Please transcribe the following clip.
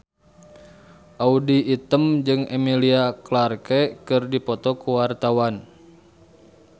Audy Item jeung Emilia Clarke keur dipoto ku wartawan